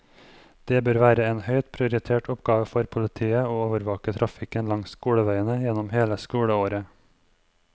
Det bør være en høyt prioritert oppgave for politiet å overvåke trafikken langs skoleveiene gjennom hele skoleåret.